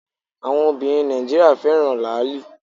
Àwọn Obìnrin Nàìjíríà fẹ́ràn Làálì